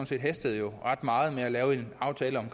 set hastede ret meget med at lave en aftale om